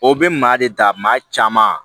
O bɛ maa de ta maa caman